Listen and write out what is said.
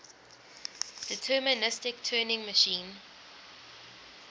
deterministic turing machine